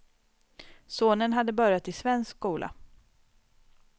Sonen hade börjat i svensk skola.